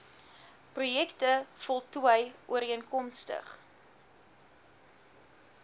projekte voltooi ooreenkomstig